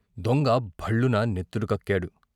దొంగ భళ్లున నెత్తురు కక్కాడు.